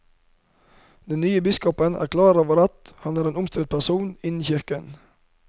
Den nye biskopen er klar over at han er en omstridt person innen kirken.